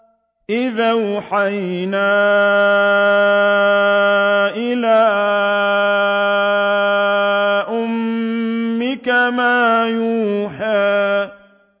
إِذْ أَوْحَيْنَا إِلَىٰ أُمِّكَ مَا يُوحَىٰ